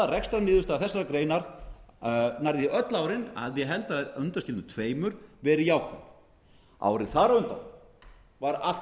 rekstrarniðurstaða þessarar greinar nærri því öll árin að ég held að undanskildum tveimur verið jákvæð árið þar á undan var allt